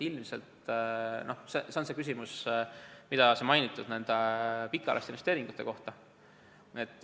Ilmselt see on küsimus, mis on seotud eelmainitud pikaajaliste investeeringutega.